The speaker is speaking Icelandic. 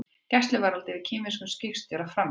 Gæsluvarðhald yfir kínverskum skipstjóra framlengt